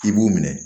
I b'u minɛ